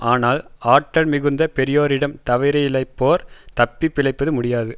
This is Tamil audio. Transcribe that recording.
ஆனால் ஆற்றல் மிகுந்த பெரியோரிடம் தவறிழைப்போர் தப்பி பிழைப்பது முடியாது